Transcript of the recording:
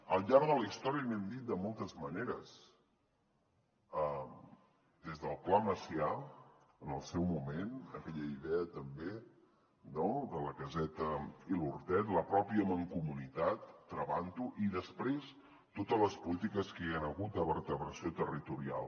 al llarg de la història n’hem dit de moltes maneres des del pla macià en el seu moment aquella idea també no de la caseta i l’hortet la mateixa mancomunitat travant ho i després totes les polítiques que hi han hagut de vertebració territorial